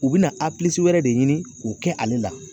U bina a pilisi wɛrɛ de ɲini k'o kɛ ale la